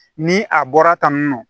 Ni a bɔra tan tan